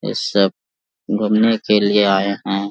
ये सब घूमने के लिए आए हैं।